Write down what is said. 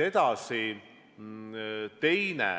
Edasi, teine